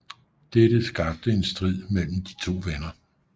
Dette skabte en strid mellem de to venner